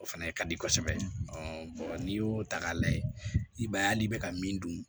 O fɛnɛ ka di kosɛbɛ n'i y'o ta k'a lajɛ i b'a ye hali n'i bɛ ka min dun